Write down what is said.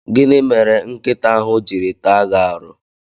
Gịnị mere nkịta ahụ jiri taa gi aru?